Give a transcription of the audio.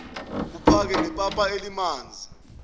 kuphake nepapa elimanzi